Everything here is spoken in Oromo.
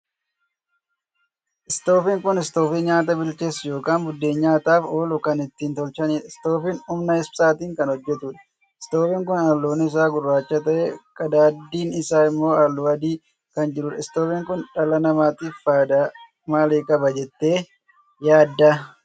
Istoofiin kun istoofii nyaataa bilcheessu ykn buddeen nyaataaf oolu kan ittiin tolchaniidha. istoofiin humna ibsaatin kan hojjetuudha. itoofiini kun halluun isaa gurraacha tahee qadaaddiin isaa immoo halluu adii kan jiruudha. Istoofiin kun dhala namaatiif faayidaa maalii qaba jettee yaadda?